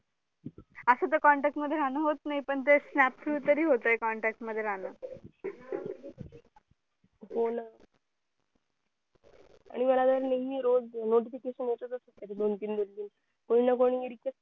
असं तर contact मध्ये राहणं होत नाही पण ते snap through तरी होत contact मध्ये राहणं हो न आणि मला नेहेमी notification येतचं असतात दोन तीन दिवस गेले कि कोणी ना कोणी मिळतेच